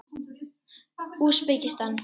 Úsbekistan